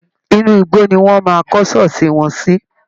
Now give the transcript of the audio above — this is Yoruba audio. Inú igbó ni wọ́n máa kọ́ ṣọ́ọ̀ṣì wọn sí